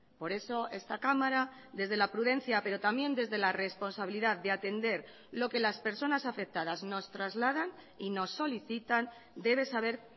por eso esta cámara desde la prudencia pero también desde la responsabilidad de atender lo que las personas afectadas nos trasladan y nos solicitan debe saber